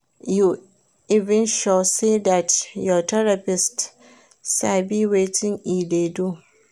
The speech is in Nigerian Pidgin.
You even sure say dat your therapist sabi wetin e dey do